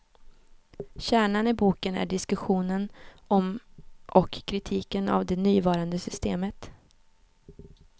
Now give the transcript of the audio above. Kärnan i boken är diskussionen om och kritiken av det nuvarande systemet.